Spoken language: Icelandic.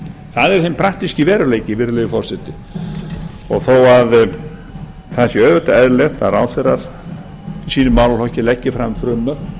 það er hinn praktíski veruleiki virðulegi forseti þó að það sé auðvitað eðlilegt að ráðherrar í sínum málaflokki leggi fram frumvörp og